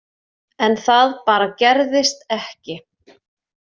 En það bara gerðist ekki.